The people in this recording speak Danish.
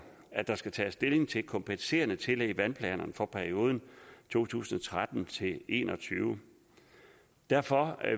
at der skal tages stilling til kompenserende tillæg i vandplanerne for perioden to tusind og tretten til en og tyve derfor